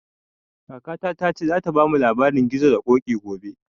Kakata ta ce za ta bamu labarin gizo da koƙi gobe